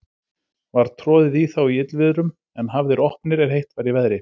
Var troðið í þá í illviðrum, en hafðir opnir, er heitt var í veðri.